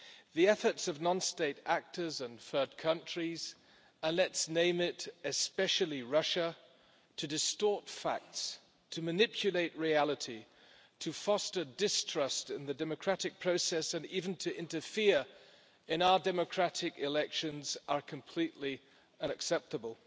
The efforts of non state actors and third countries and let's name it, especially Russia to distort facts, to manipulate reality, to foster distrust in the democratic process and even to interfere in our democratic elections, are completely unacceptable.